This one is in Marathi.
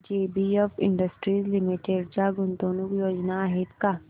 जेबीएफ इंडस्ट्रीज लिमिटेड च्या गुंतवणूक योजना आहेत का